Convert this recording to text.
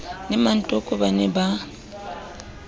le mmatoko ba ne ba